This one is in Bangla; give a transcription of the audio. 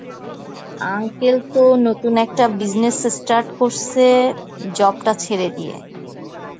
uncle তো নতুন একটা business start করসে, job টা ছেড়ে দিয়ে.